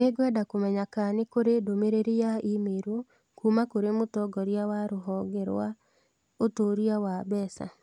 Nĩngwenda kũmenya kana nĩ kũrĩ ndũmĩrĩri ya i-mīrū kuuma kũrĩ mũtongoria wa rũhonge rwa ũtuĩria wa mbeca.